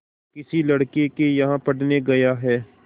किसी लड़के के यहाँ पढ़ने गया है